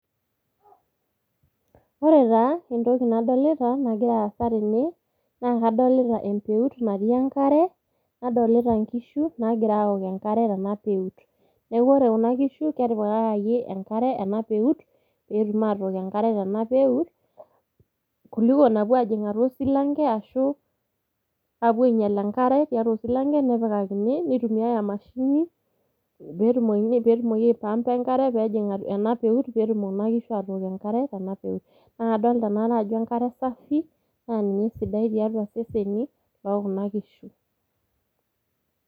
Ore taa entoki nadolita nagira aasa tene naa kadolita empeut natii enkare , nadolita inkishu nagira aok enkare tena peut .Niaku ore kuna kishu ketipikaki enkare ena peut ,petum atook enkare tena peut kuliko napuo ajing atua osilanke ashu apuo ainyial enkare tiatua osilanke , nepikakini emashini, petumoki aipampa enkare pejing ena peut ,petumkuna kishu atook enkare tena peut. Naa kadolita enaa are ajo enkare safi naa ninye esidai tiatua iseseni lookuna kishu.